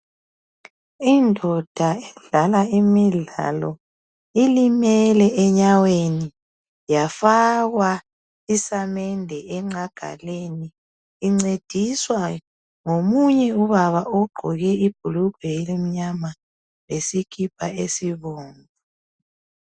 Indoda edlala imidlalo, ilimele enyaweni yafakwa isamende enqagaleni. Incediswa ngomunye ubaba ogqoke ibhulugwe elimnyama lesikipa esibomvu.